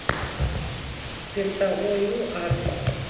пентаоил адрес